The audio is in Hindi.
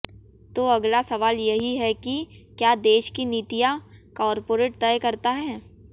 तो अगला सवाल यही है कि क्य़ा देश की नीतियां कॉरपोरेट तय करता है